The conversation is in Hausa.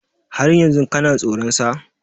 Har yanzu kana soran sa?